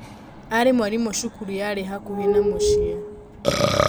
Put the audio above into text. Aarĩ mwarimũ cukuru yarĩ hakuhĩ na mũciĩ.